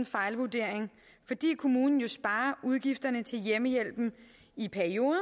fejlvurdering fordi kommunen jo sparer udgifterne til hjemmehjælpen i perioden og